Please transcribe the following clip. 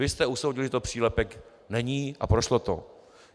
Vy jste usoudili, že to přílepek není, a prošlo to.